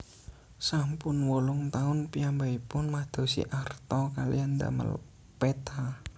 Sampun wolung taun piyambakipun madosi arta kaliyan ndamel peta